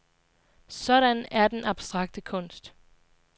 Sådan er denne abstrakte kunst.